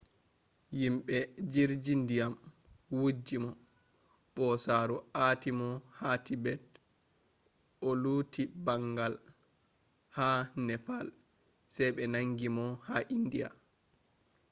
yimɓe jirji ndiyam wujji mo ɓosaaru aati mo ha tibet o luti ɓangal ha nepal sey ɓe nangi mo ha indiya